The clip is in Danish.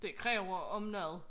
Det kræver om noget